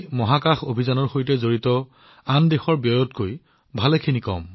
মহাকাশ অভিযানৰ সৈতে জড়িত আন দেশবোৰে বহন কৰা ব্যয়তকৈ ইয়াৰ বিকাশ ব্যয় বহুত কম